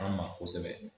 An ma kosɛbɛ